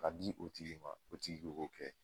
Ka di o tigi ma o tigi de k'o kɛ